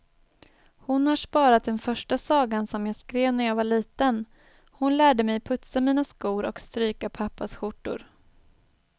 Hon har sparat den första sagan som jag skrev när jag var liten, hon lärde mig putsa mina skor och stryka pappas skjortor.